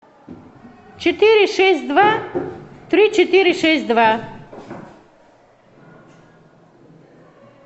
четыре шесть два три четыре шесть два